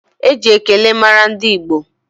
Eji ekele mara ndị Igbo